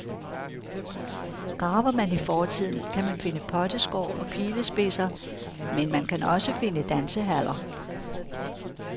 Graver man i fortiden, kan man finde potteskår og pilespidser, men man kan også finde dansehaller.